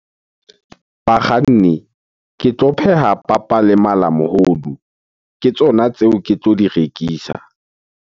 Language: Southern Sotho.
Bakganni, ke tlo pheha papa le malamohodu. Ke tsona tseo ke tlo di rekisa.